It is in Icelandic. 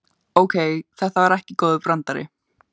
Ókei, þetta var ekki góður brandari.